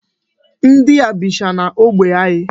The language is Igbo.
Ndị a bicha n'ógbè anyị.